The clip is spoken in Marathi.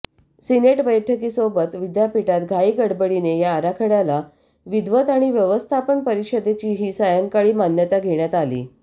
सिनेट बैठकीसोबत विद्यापीठात घाईगडबडीने या आराखडय़ाला विद्वत आणि व्यवस्थापन परिषदेचीही सायंकाळी मान्यता घेण्यात आली